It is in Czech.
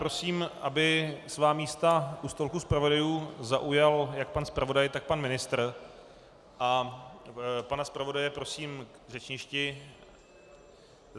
Prosím, aby svá místa u stolku zpravodajů zaujal jak pan zpravodaj, tak pan ministr, a pana zpravodaje prosím k řečništi.